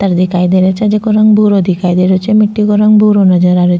पत्थर दिखाई दे रियो छे जेको रंग भूरो दिखाई दे रियो छे मिट्टी को रंग भूरो नजर आ रियो --